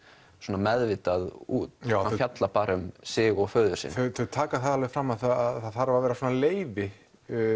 meðvitað út fjallar bara um sig og föður sinn þau taka það alveg fram að það þarf að vera leyfi